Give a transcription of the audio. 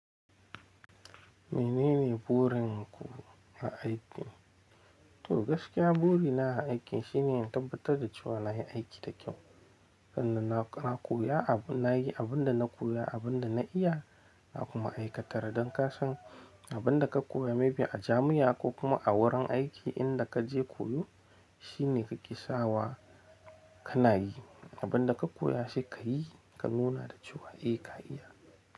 Menene burin ku na aiki? To gaskiya buri na a aikin shine na tabbatar da cewa na yi aiki da kyau. Sannan, na koya abu na yi abun da na koya, abun da na iya na kuma aikatar. Don kasan abin da ka koya may be a jami'a ko kuma a wurin aiki inda ka je koyo shine ka ke sawa ka na yi. Abun da ka koya sai ka yi ka nuna da cewa eh ka iya.